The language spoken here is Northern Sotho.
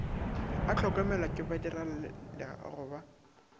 a hlokomelwa ke badirelaleago ba